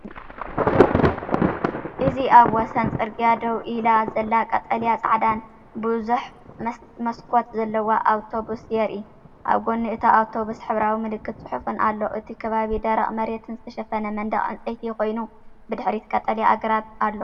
እዚ ኣብ ወሰን ጽርግያ ደው ኢላ ዘላ ቀጠልያን ጻዕዳን ብዙሕ መስኮት ዘለዋ ኣውቶቡስ የርኢ። ኣብ ጎኒ እታ ኣውቶቡስ ሕብራዊ ምልክትን ጽሑፍን ኣሎ። እቲ ከባቢ ደረቕ መሬትን ዝተሸፈነ መንደቕ ዕንጨይቲን ኮይኑ፡ ብድሕሪት ቀጠልያ ኣግራብ ኣሎ።